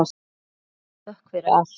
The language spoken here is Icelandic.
Hafið þökk fyrir allt.